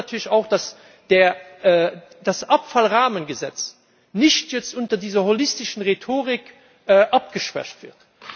Wir wollen natürlich auch, dass das Abfallrahmengesetz nicht jetzt unter dieser holistischen Rhetorik abgeschwächt wird.